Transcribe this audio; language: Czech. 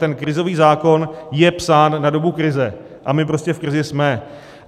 Ten krizový zákon je psán na dobu krize a my prostě v krizi jsme.